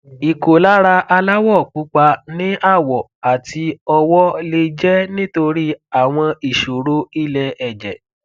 ìkólára aláwọ pupa ní àwọ àti ọwọ lè jẹ nítorí àwọn ìṣòro ilẹ ẹjẹ